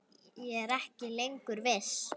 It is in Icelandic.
Ég er ekki lengur viss.